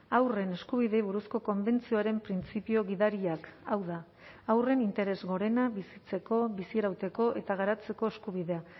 haurren eskubideei buruzko konbentzioaren printzipio gidariak hau da haurren interes gorena bizitzeko bizirauteko eta garatzeko eskubidea